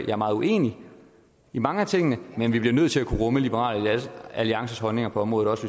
er meget uenig i mange af tingene men vi bliver nødt til at kunne rumme liberal alliances holdninger på området også